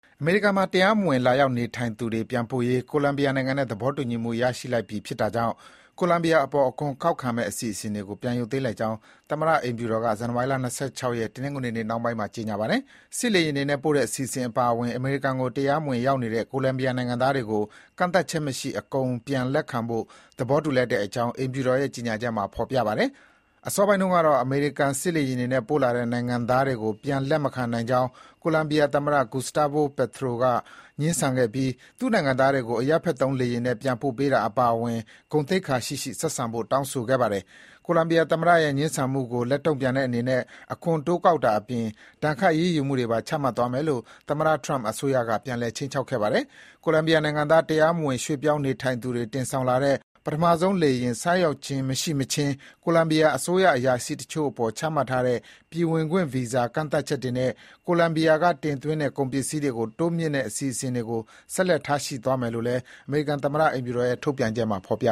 အမေရိကန်မှာ တရားမဝင် လာရောက်နေထိုင်သူတွေပြန်ပို့ရေး ကိုလံဘီယာနိုင်ငံနဲ့ သဘောတူညီမှု ရပြီဖြစ်တာကြောင့် ကိုလံဘီယာနိုင်ငံအပေါ် အခွန်ကောက်မယ့်အစီအစဉ်တွေကို ပြန်ရုပ်သိမ်း လိုက်ကြောင်း သမ္မတ အိမ်ဖြူတော်က ဇန်နဝါရီ ၂၆ ရက်၊ တနင်္ဂနွေနေ့နှောင်းပိုင်းမှာ ကြေညာပါတယ်။ စစ်လေယာဉ်တွေနဲ့ ပို့တဲ့အစီအစဉ်အပါအဝင် အမေရိကန်ကို တရားမဝင်ရောက်နေတဲ့ ကိုလံဘီယာ နိုင်ငံသားတွေကို ကန့်သတ်ချက်မရှိ အကုန်ပြန်လက်ခံဖို့ သဘောတူလိုက်တဲ့အကြောင်း အိမ်ဖြူတော်ရဲ့ ကြေညာချက်မှာ ဖော်ပြပါတယ်။အစောပိုင်းတုန်းကတော့ အမေရိကန် စစ်လေယာဉ်နဲ့ ပို့လာတဲ့ နိုင်ငံသားတွေကို ပြန်လက်မခံနိုင်ကြောင်း ကိုလံဘီယာသမ္မတ Gustavo Petro က ငြင်းဆန်ခဲ့ပြီး သူ့နိုင်ငံသားတွေကို အရပ်ဘက်သုံးလေယာဉ်နဲ့ ပြန်ပို့ပေးတာအပါအဝင် ဂုဏ်သိက္ခာရှိရှိ ဆက်ဆံဖို့ တောင်းဆိုခဲ့ပါတယ်။ ကိုလံဘီယာသမ္မတရဲ့ ငြင်းဆန်မှုကို လက်တုံ့ပြန်တဲ့အနေနဲ့ အခွန်တိုးကောက်တာအပြင် ဒဏ်ခတ် အရေးယူမှုတွေပါ ချမှတ်သွားမယ်လို့ သမ္မတ Trump အစိုးရက ပြန်လည် ခြိမ်းခြောက်ခဲ့ပါတယ်။ ကိုလံဘီယာနိုင်ငံသား တရားမဝင် ရွှေ့ပြောင်းနေထိုင်သူတွေကိုတင်ဆောင်လာတဲ့ ပထမဆုံးလေယာဉ် မဆိုက်ရောက်မချင်း ကိုလံဘီယာအစိုးရအရာရှိတချို့အပေါ် ချမှတ်ထားတဲ့ ပြည်ဝင်ခွင့်ဗီဇာ ကန့်သတ်ချက်တွေနဲ့ ကိုလံဘီယာကတင်သွင်းတဲ့ ကုန်ပစ္စည်းတွေကို တိုးမြှင့်စိစစ်တဲ့ အစီအစဉ်ကို ဆက်လက် ထားရှိသွားမယ်လို့လည်း အမေရိကန်သမ္မတ အိမ်ဖြူတော်က ထုတ်ပြန်တဲ့ ကြေညာချက်မှာ ဖော်ပြ